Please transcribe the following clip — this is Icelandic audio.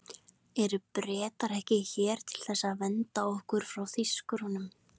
Eru Bretarnir ekki hér til þess að vernda okkur fyrir Þýskurunum?